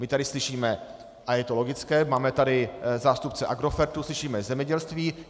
My tady slyšíme, a je to logické, máme tady zástupce Agrofertu, slyšíme zemědělství.